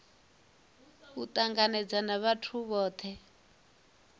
u tangana na vhathu vhothe